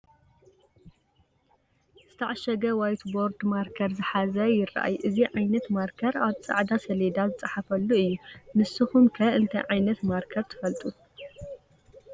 ዝተዓሸገ ዋይት ቦርድ ማርከር ዝሓዘ ይራኣይ፡፡ እዚ ዓይነት ማርከር ኣብ ፃዕዳ ሰሌዳ ዝፀሓፈሉ እዩ፡፡ ንስኹም ከ እንታይ ዓይነት ማርከር ትፈልጡ?